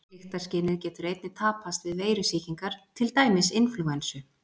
Lyktarskynið getur einnig tapast við veirusýkingar, til dæmis inflúensu.